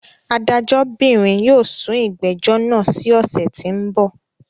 Adájọ́bìnrìn yóò sún ìgbẹ́jọ́ náà sí ọ̀ṣẹ̀ tí ń bọ̀.